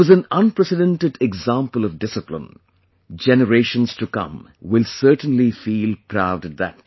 It was an unprecedented example of discipline; generations to come will certainly feel proud at that